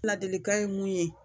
Ladilikan ye mun ye